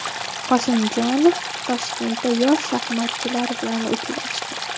Qosimjonov Toshkentda yosh shaxmatchilar bilan uchrashdi.